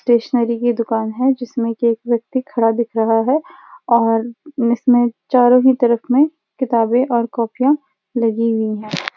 Stationery की दुकान है जिसमें कि एक व्यक्ति खड़ा दिख रहा है और इसमें चारों ही तरफ में किताबें और कॉपियाँ लगी हुई हैं।